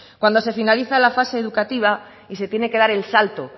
cuando se finaliza la fase educativa y se tiene que dar el salto